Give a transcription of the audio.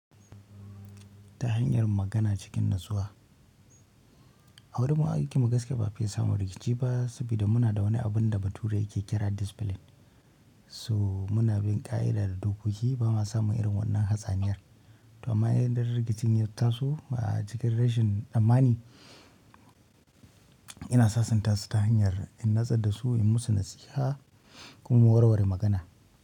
Ta hanyar magana cikin natsuwa. A wurin mu aikin mu gaskiya ba a fiye samun rikici ba, saboda muna da wani abin da bature yake kira discipline. So muna bin ƙa'ida da dokoki bama samun irin wannan hatsaniyar to amma idan rikicin ya taso a cikin rashin tsammani, ina sasanta su ta hanyar in natsar dasu, in musu nasiha kuma mu warware magana.